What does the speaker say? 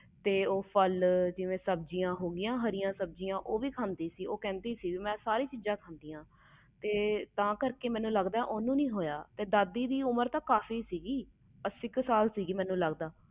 ਜਿਵੇ ਫਲ ਹਾਰੀਆਂ ਸਬਜ਼ੀਆਂ ਉਹ ਵੀ ਖਾਦੀ ਸੀ ਕਹਿੰਦੀ ਸੀ ਮੈਂ ਸਾਰੀਆਂ ਚੀਜ਼ਾਂ ਖਾਦੀਆਂ ਆ ਤੇ ਤਾ ਕਰਕੇ ਮੈਨੂੰ ਲੱਗਦਾ ਹੋਇਆ ਤੇ ਦਾਦੀ ਦੀ ਉਮਰ ਤੇ ਕਾਫੀ ਸੀ